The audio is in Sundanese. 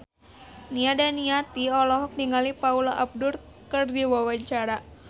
Nia Daniati olohok ningali Paula Abdul keur diwawancara